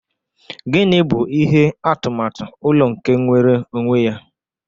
Gini bụ ihe atụmatụ ụlọ nke nwere onwe ya?